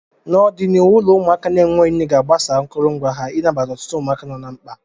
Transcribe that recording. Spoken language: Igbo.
N'ọdịniihu, ụlọ ụmụaka na-enweghị nne ga-agbasa akụrụngwa ha ị nabata ọtụtụ ụmụaka nọ na mkpa.